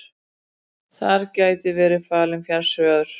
Þar gæti verið falinn fjársjóður